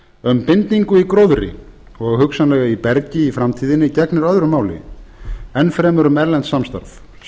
um bindingu í gróðri gegnir öðru máli enn fremur um erlent samstarf